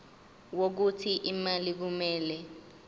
wokuthi imali kumele